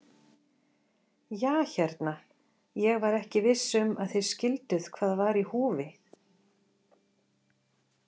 Ja hérna, ég var ekki viss um að þið skilduð hvað var í húfi.